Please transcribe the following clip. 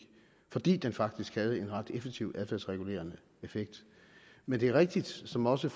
fordi den faktisk havde en ret effektiv adfærdsregulerende effekt men det er rigtigt som også